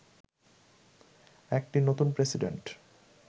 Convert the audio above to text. একটি নতুন প্রেসিডেন্ট